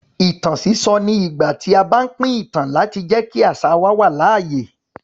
Ìtàn sísọ ni ìgbà tí a bá pín ìtàn láti jẹ́ kí àṣà wa wà láàyè.